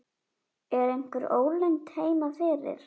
Er einhver ólund heima fyrir?